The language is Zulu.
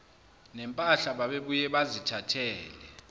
nempahla babebuye bazithathele